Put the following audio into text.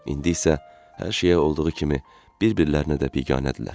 İndi isə hər şeyə olduğu kimi, bir-birlərinə də biganədirlər.